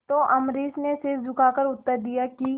तो अम्बरीश ने सिर झुकाकर उत्तर दिया कि